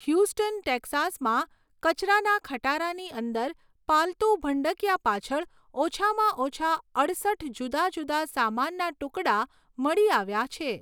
Houston, ટેક્સાસમાં કચરાના ખટારાની અંદર પાલતું ભંડકીયા પાછળ ઓછામાં ઓછા અડસઠ જુદા જુદા સામાનના ટુકડા મળી આવ્યા છે.